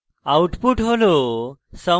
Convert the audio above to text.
output হল